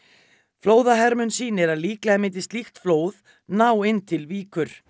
flóðahermun sýnir að líklega myndi slíkt flóð ná inn til Víkur